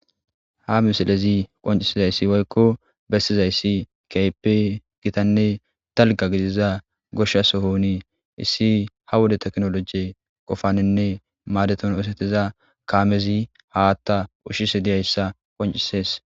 ha misilezi qoncisizayssi woykko bessizayssi keype gitanne talga gidiza goshsha sohonii issi ha wode teknoloje qofaninne maadeton osetiza kaamezi haatta ushshise diyayssa qoncisees